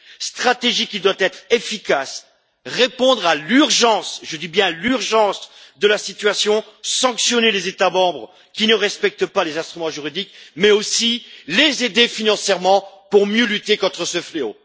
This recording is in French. Cette stratégie doit être efficace, répondre à l'urgence je dis bien l'urgence de la situation, sanctionner les États membres qui ne respectent pas les instruments juridiques, mais aussi, les aider financièrement pour mieux lutter contre ce fléau.